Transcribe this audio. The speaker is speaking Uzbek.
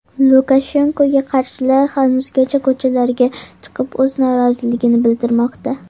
Lukashenkoga qarshilar hanuzgacha ko‘chalarga chiqib o‘z noroziligini bildirmoqda.